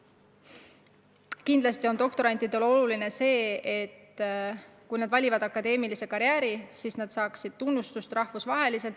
Aga kindlasti on doktorantidele oluline, et kui nad valivad akadeemilise karjääri, siis nad saaksid tunnustust rahvusvaheliselt.